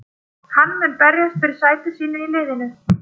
Hann mun berjast fyrir sæti sínu í liðinu.